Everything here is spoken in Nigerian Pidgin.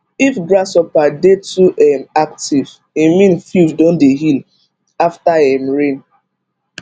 if grasshopper dey too um active e mean field don dey heal after um rain